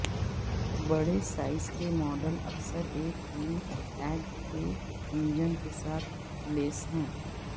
بڑے سائز کے ماڈل اکثر ایک تین ایکٹ کے انجن کے ساتھ لیس ہیں